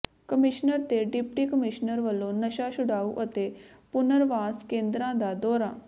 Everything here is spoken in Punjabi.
ਕਮਿਸ਼ਨਰ ਤੇ ਡਿਪਟੀ ਕਮਿਸ਼ਨਰ ਵੱਲੋਂ ਨਸ਼ਾ ਛੁਡਾਊ ਅਤੇ ਪੁਨਰਵਾਸ ਕੇਂਦਰਾਂ ਦਾ ਦੌਰਾ